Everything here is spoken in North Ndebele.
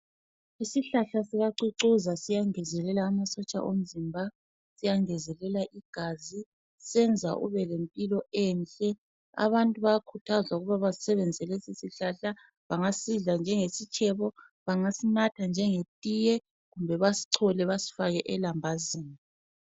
Isihlahla sikacucuza ,siyangezelela amasotsha omzimba, siyangezelela igazi ,senza ubelempilo enhle. Abantu bayakhuthazwa ukuba basebenziselesi sihlahla .Bangasidla njengesitshebo ,bangasinatha njengetiye kumbe basicole basifake elambazini.